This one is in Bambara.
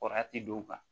Kɔrɔti don